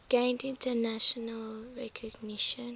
gained international recognition